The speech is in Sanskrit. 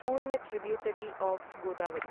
पूर्ण ट्रिब्यूटरी ओफ् गोदावरी